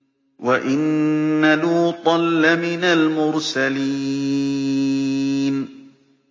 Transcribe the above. وَإِنَّ لُوطًا لَّمِنَ الْمُرْسَلِينَ